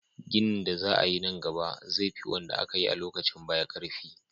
ginin da za ayi nan gaba zai fi wanda akayi a lokacin baya karfi